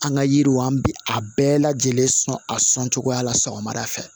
An ka yiriw an bi a bɛɛ lajɛlen sɔn a sɔncogoya la sɔgɔmada fɛ